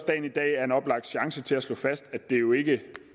dagen i dag er en oplagt chance til at slå fast at det jo ikke